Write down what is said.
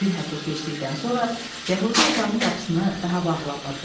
Bir həftə keçdikdən sonra yəhudi otağın qapısını daha bağlamırdı.